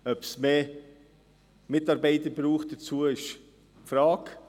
Ob es hierzu mehr Mitarbeiter braucht, ist fraglich.